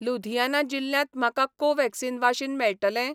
लुधियाना जिल्ल्यांत म्हाका कोव्हॅक्सिन वाशीन मेळटलें?